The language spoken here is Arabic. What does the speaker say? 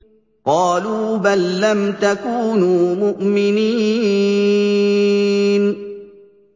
قَالُوا بَل لَّمْ تَكُونُوا مُؤْمِنِينَ